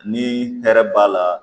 Ni hɛrɛ b'a la